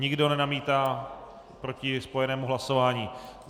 Nikdo nenamítá proti spojenému hlasování.